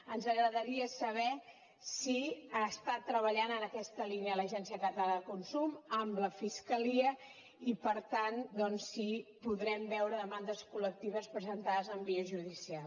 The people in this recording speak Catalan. ens agradaria saber si està treballant en aquesta línia l’agència catalana de consum amb la fiscalia i per tant doncs si podrem veure demandes col·lectives presentades en via judicial